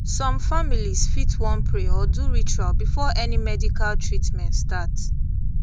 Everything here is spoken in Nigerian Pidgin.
some families fit wan pray or do ritual before any medical treatment start